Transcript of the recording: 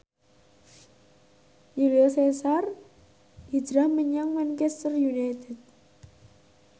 Julio Cesar hijrah menyang Manchester united